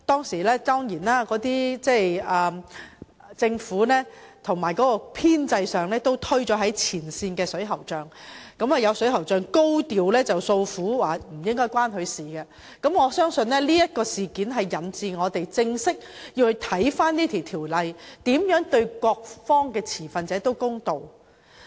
事發之初，政府曾把責任推向前線水喉匠，以致有水喉匠高調訴苦，指問題與他們無關，這亦導致我們在檢視《條例草案》的規定時，必須研究如何可對各方持份者公道。